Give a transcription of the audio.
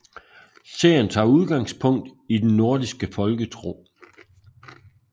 Serien tager udgangspunkt i den nordiske folketro